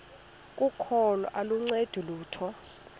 kokholo aluncedi lutho